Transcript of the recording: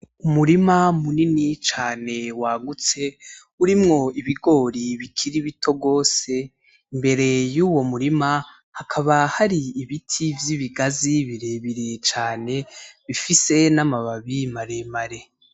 Umurima munini cane waguts, urimwo ibigori bikiri bito gose, mbere yuwo murima hakaba hari ibiti vy'ibigazi birebire cane bifise n'amababi maremare